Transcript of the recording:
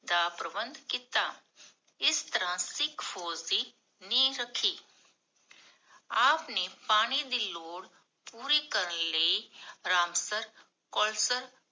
ਦਾ ਪ੍ਰਬੰਧ ਕੀਤਾ। ਇਸ ਤਰਹ ਸਿਖ ਫੋਜ ਦੀ ਨੀਹ ਰਖੀ ਆਪ ਨੇ ਪਾਣੀ ਦੀ ਲੋੜ ਪੂਰੀ ਕਰਨ ਲਈ ਰਾਮਸਰ, ਕੌਲਸਰ